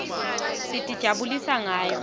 sitijabulisa ngayo